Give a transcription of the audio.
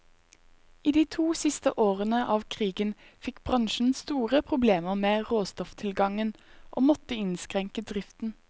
I de to siste årene av krigen fikk bransjen store problemer med råstofftilgangen, og måtte innskrenke driften.